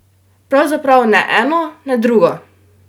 Pravzaprav ne eno ne drugo!